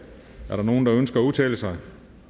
er der nogen der ønsker at udtale sig